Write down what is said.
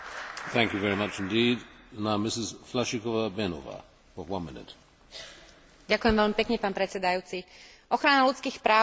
Ochrana ľudských práv, rešpektovanie rozdielností medzi ľuďmi a prejavovanie tohto rešpektu je v demokratickej spoločnosti rovnako dôležité ako boj proti násiliu.